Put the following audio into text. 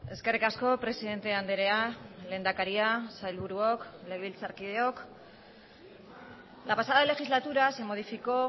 eskerrik asko presidente andrea lehendakaria sailburuok legebiltzarkideok la pasada legislatura se modificó